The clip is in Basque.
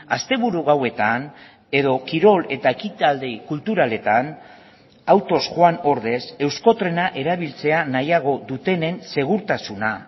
asteburu gauetan edo kirol eta ekitaldi kulturaletan autoz joan ordez euskotrena erabiltzea nahiago dutenen segurtasuna